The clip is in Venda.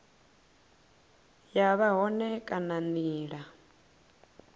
ya vha hone kana nila